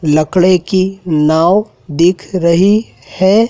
लकड़े की नाव दिख रही है।